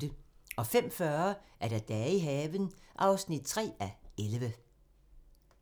05:40: Dage i haven (3:11)